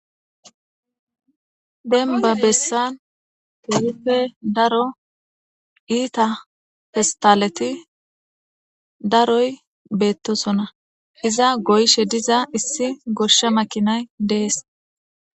Denba bessan keehippe daro iita festaleti daroy beettosona iza goyshe diza issi gosha makinay dees